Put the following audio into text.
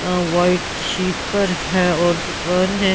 White sheet पर है और दुकान है।